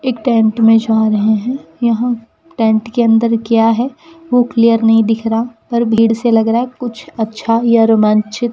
एक टेंट में जा रहें हैं यहाँ टेंट के अंदर क्या हैं वो क्लियर नहीं दिख रहा पर भीड़ से लगा रहा है कुछ अच्छा या रोमांचित --